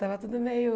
Tava tudo meio...